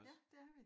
Ja det er vi